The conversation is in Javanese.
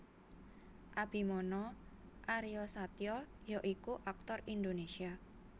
Abimana Aryasatya ya iku aktor Indonesia